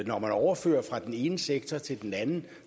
når man overfører fra den ene sektor til den anden